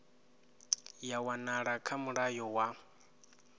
ya wanala kha mulayo wa